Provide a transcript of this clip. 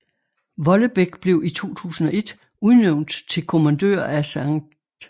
Vollebæk blev i 2001 udnævnt til kommandør af St